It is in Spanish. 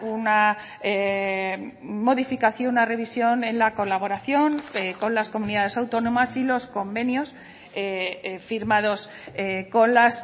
una modificación una revisión en la colaboración con las comunidades autónomas y los convenios firmados con las